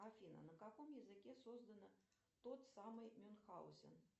афина на каком языке создана тот самый мюнхгаузен